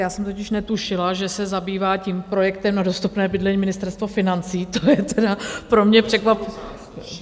Já jsem totiž netušila, že se zabývá tím projektem na dostupné bydlení Ministerstvo financí, to je teda pro mě překvapení...